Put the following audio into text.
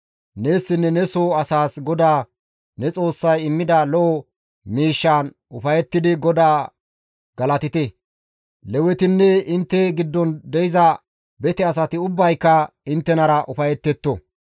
Neessinne ne soo asaas GODAA ne Xoossay immida lo7o miishshaan ufayettidi GODAA galatite; Lewetinne intte giddon de7iza bete asati ubbayka inttenara ufayetetto.